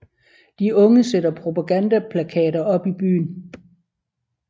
De unge sætter propagandaplakater op i byen